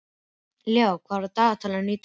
Leó, hvað er í dagatalinu í dag?